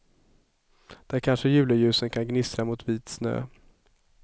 Där kanske juleljusen kan gnistra mot vit snö.